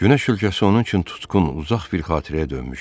Günəş ölkəsi onun üçün tutqun, uzaq bir xatirəyə dönmüşdü.